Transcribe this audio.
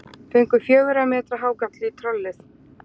Fengu fjögurra metra hákarl í trollið